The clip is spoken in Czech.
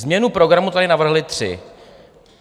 Změnu programu tady navrhli tři.